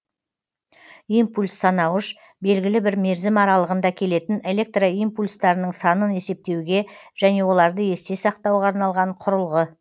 импульс санауыш белгілі бір мерзім аралығында келетін электро импульстарының санын есептеуге және оларды есте сақтауға арналған құрылғы